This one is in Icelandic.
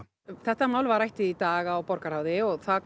þetta mál var rætt í dag í borgarráði og það